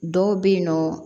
Dɔw bɛ yen nɔ